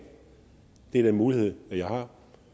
det er den mulighed jeg har